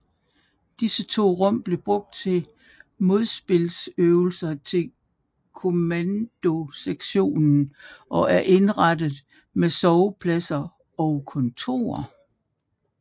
Disse to rum blev brugt til modspilsøvelser til kommandosektionen og er indrettet med sovepladser og kontorer